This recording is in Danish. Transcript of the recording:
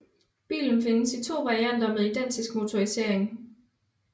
Bilen findes i to varianter med identisk motorisering